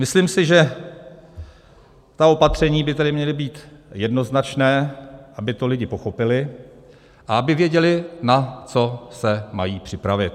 Myslím si, že ta opatření by tedy měla být jednoznačná, aby to lidi pochopili a aby věděli, na co se mají připravit.